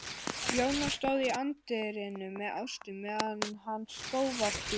Jóna stóð í anddyrinu með Ástu meðan hann skóf af bílnum.